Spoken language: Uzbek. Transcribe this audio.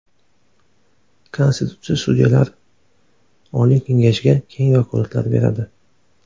Konstitutsiya Sudyalar oliy kengashiga keng vakolatlar beradi.